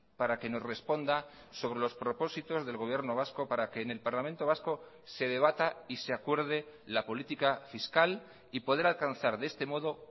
para que nos responda sobre los propósitos del gobierno vasco para que en el parlamento vasco se debata y se acuerde la política fiscal y poder alcanzar de este modo